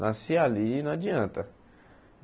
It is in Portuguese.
Nasci ali não adianta.